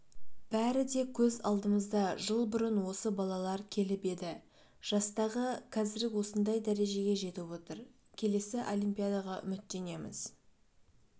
бәрі де көз алдымызда жыл бұрын осы балалар келіп еді жастағы қазір осындай дәрежеге жетіп отыр келесі олимпадаға үміттенеміз